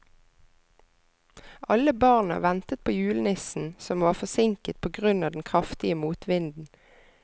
Alle barna ventet på julenissen, som var forsinket på grunn av den kraftige motvinden.